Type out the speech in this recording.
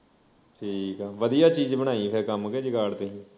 ਠੀਕ ਆ ਵਧੀਆ ਚੀਜ ਬਣਾਈ ਆ ਫਿਰ ਕੰਮ ਕਿ ਜੁਗਾੜ ਤੇ